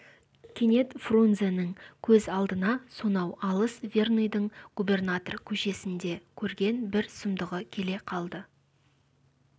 кенет фрунзенің көз алдына сонау алыс верныйдың губернатор көшесінде көрген бір сұмдығы келе қалды